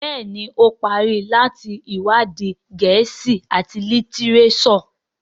Béèni o parí láti iwadi Gèésì at litireso.